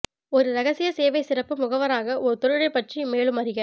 ஒரு இரகசிய சேவை சிறப்பு முகவராக ஒரு தொழிலை பற்றி மேலும் அறிக